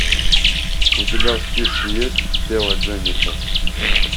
у тебя в списке есть тело дженнифер